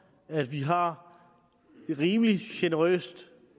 at vi har et rimelig generøst